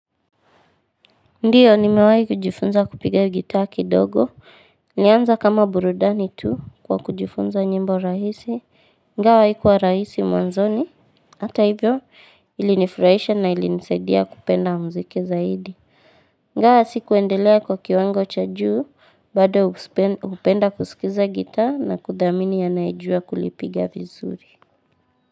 Ndiyo, ni mewai kujifunza kupiga gitaa ki dogo. Nianza kama burudani tu kwa kujifunza nyimbo rahisi. Ingawa haikuwa rahisi mwanzoni. Hata hivyo, ilinifurahisha na ilinisaidia kupenda mziki zaidi. Ingwa sikuendelea kwa kiwango cha juu. Bado upenda kusikiza gitaa na kudhamini anayejua kulipiga vizuri.